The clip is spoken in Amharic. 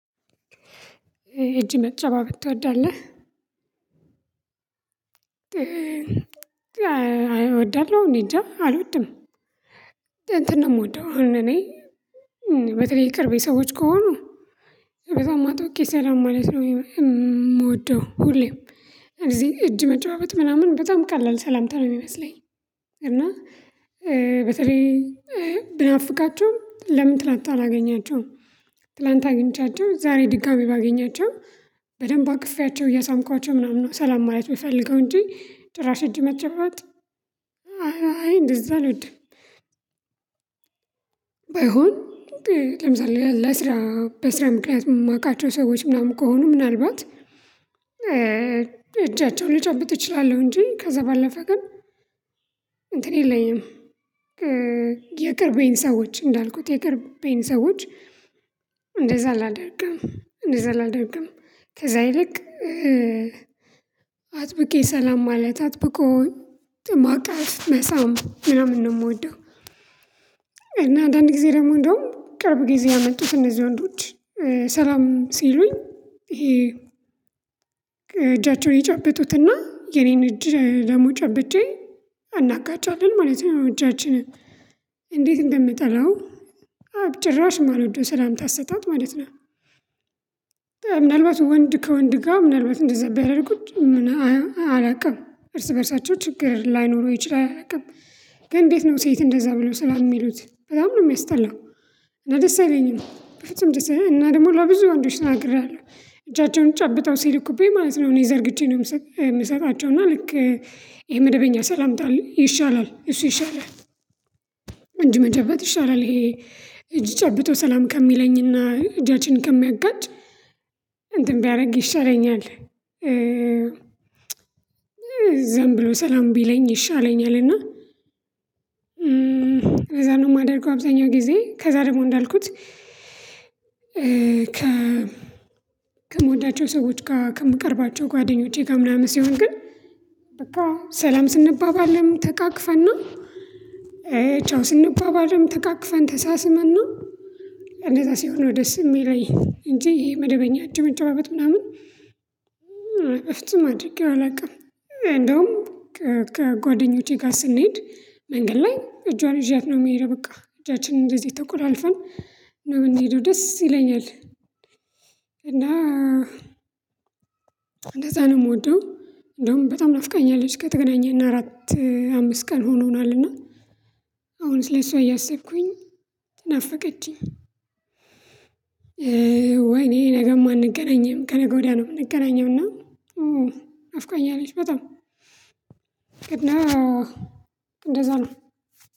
እጅ መጨባበጥ ትወዳለህ? አይወድም እኔ እንጃ አልወድም። እንትን ነው የምወደው እኔ በተለይ የቅርቤ ሰዎች ከሆኑ በጣም አጥብቄ ሰላም ማለት ነው የምወደው ሁሌም እዚህ እጅ መጨባብጥ ምናምን በጣም ቀላል ሰላምታ ነው የሚመስለኝ እና በተለይ ብናፍቃቸው ለምን ትላንት አላገኛቸውም ትላንት አግኝቻቸው ዛሬ ድጋሚ ባገኛቸው በደንብ አቅፌያቸው እያሳምኳቸው ምናምን ነው ሰላም ማለት የምፈልገው እንጂ ጭራሽ እጅ መጨባበጥ አይ እንደዛ አልወድም። ባይሆን ለምሳሌ ለስራ በስራ ምክንያት የማውቃቸው ሰዎች ምናምን ከሆኑ ምናልባት እጃቸውን ልጨብጥ እችላለሁ እንጂ ከዛ ባለፈ ግን እንትን የለኝም። የቅርቤን ሰዎች እንዳልኩት የቅርቤን ሰዎች እንደዛ አላደርግም እንደዛ አላደርግም። ከዛ ይልቅ አጥብቄ ሰላም ማለት አጥብቆኝ ማቀፍ መሳም ምናምን ነው የምወደው እና አንዳንድ ጊዜ ደግሞ እንደውም ቅርብ ጊዜ ያመጡት እነዚህ ወንዶች ሰላም ሲሉኝ ይሄ እጃቸውን ይጨብጡትና የኔን እጅ ጨብጬ አናጋጫለን ማለት ነው እጃችንን። እንዴት እንደምንጠላው አው ጭራሽ ማልወደው ስላምታ አሰጣጥ ማለት ነው። ምናልባት ወንድ ከወንድ ጋር ምናልባት እንደዛ ቢያደርጉት ምናምን አላውቅም እርስ በእርሳቸው ችግር ላይኖሩ ይችላል ግን እንዴት ነው ሴት እንደዛ ብለው ሰላም የሚሉት በጣም ነው የሚያስጠላው። ደስ አይለኝም። በፍጹም ደስ አይለኝም እና ደግሞ ለብዙ ወንዶች ተናግሬያለሁ። እጃቸውን ጨብጠው ሲልኩብኝ ማለት ነው እኔ ዘርግቼ ነው የምሰጣቸው እና ልክ ይሄ መደበኛ ሰላምታ ይሻላል እሱ ይሻላል። እጅ መጨበት ይሻላል ይሄ እጅ ጨብጦ ሰላም ከሚለኝና እጃችን ከሚያጋጭ እንትን ቢያደርግ ይሻለኛል። ዝም ብሎ ሰላም ቢለኝ ይሻለኛል እና ከዛን ደግሞ የማደርገው አብዛኛው ጊዜ ከዛ ደግሞ እንዳልኩት ከምወዳቸው ሰዎች ጋር ከምቀርባቸው ጓደኞቼጋ ምናምን ሲሆን ግን በቃ ሰላም ስንባባልም ተቃቅፈን ነው። ቻው ስንባባልም ተቃቅፈን፣ ተሳስመን ነው። እንደዛ ሲሆን ነው ደስ የሚለኝ እንጂ ይሄ መደበኛ እጅ መጨባበጥ ምናምን በፍጹም አድርጌው አላውቅም። እንደውም ከጓደኞቼ ጋር ስንሄድ መንገድ ላይ እጇን ይዣት ነው የሚሄደው በቃ እጃችንን እንደዚህ ተቆላልፈን ነው የምንሄደው ደስ ይለኛል። እና እንደዛ ነው የምወደው እንደውም በጣም ናፍቀኛለች ከተገናኘን አራት አምስት ቀን ሆኖናልና አሁን ስለሱ እያሰብኩኝ ናፈቀችኝ። ወይኔ ነገም አንገናኝም፣ ከነገ ወዲያ ነው የምንገናኘው እና ናፍቆኛለች በጣም እና እንደዛ ነው።